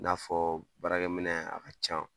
I n'a fɔ baarakɛminɛn a ka ca